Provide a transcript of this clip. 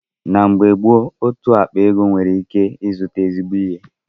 Na oge mbụ otú ákpá ego nwere ịzụta ezigbo ihe.